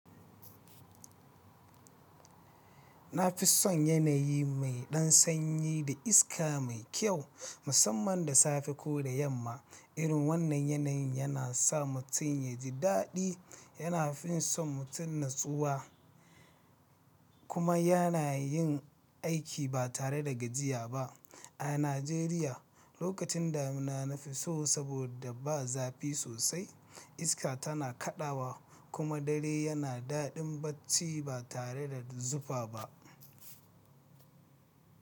Na fi son yanayi mai ɗan sanyi da iska mai kyau, musamman da safe ko da yamma. Irin wannan yanayin yana sa mutum ya ji daɗi. Yana fin son mutum natsuwa, kuma yana yin aiki ba tare da gajiya ba. A Najeriya, lokacin damina na fi so, saboda ba zafi sosai, iska tana kaɗawa, kuma dare yana daɗin bacci ba tare da zufa ba.